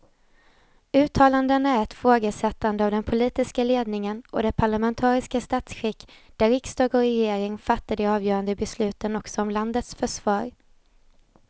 Uttalandena är ett ifrågasättande av den politiska ledningen och det parlamentariska statsskick där riksdag och regering fattar de avgörande besluten också om landets försvar.